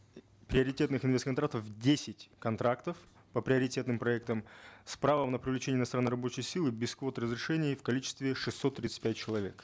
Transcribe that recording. приоритетных инвест контрактов десять контрактов по приоритетным проектам с правом на привлечение иностранной рабочей силы без квот и разрешений в количестве шестьсот тридцать пять человек